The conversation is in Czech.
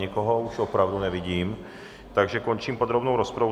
Nikoho už opravdu nevidím, takže končím podrobnou rozpravu.